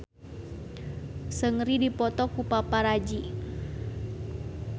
Seungri dipoto ku paparazi